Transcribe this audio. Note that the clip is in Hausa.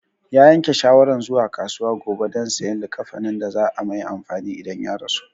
Ya yanke shawaran zuwa kasuwa gobe don sayan likkafanin da za a mai amfani idan ya rasu